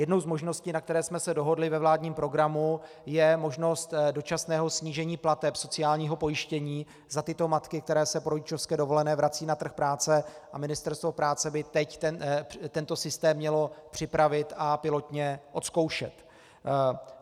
Jednou z možností, na které jsme se dohodli ve vládním programu, je možnost dočasného snížení plateb sociálního pojištění za tyto matky, které se po rodičovské dovolené vracejí na trh práce, a Ministerstvo práce by teď tento systém mělo připravit a pilotně odzkoušet.